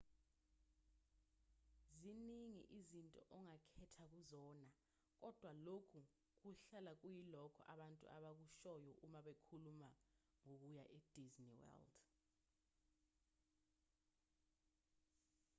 ziningi izinto ongakhetha kuzona kodwa lokhu kuhlala kuyilokho abantu abakushoyo uma bekhuluma ngokuya e-disney world